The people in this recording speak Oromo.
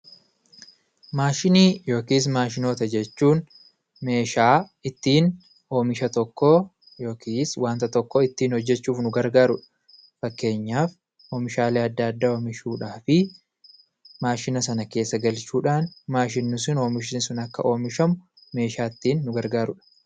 Maashinii yookis maashinoota jechuun meeshaa ittiin oomisha tokkoo yookis waanta tokkoo ittiin hojjechuuf nu gargaarudha fakkeenyaaf oomishaalee adda addaa oomishuudhaafii maashina sana keessa galchuudhaan maashinni sun oomishni sun akka oomishamu meeshaa ittiin nu gargaarudha